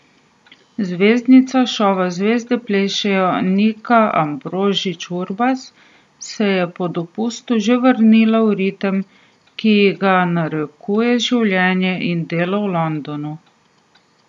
Zvezdnica šova Zvezde plešejo Nika Ambrožič Urbas se je po dopustu že vrnila v ritem, ki ji ga narekujeta življenje in delo v Londonu.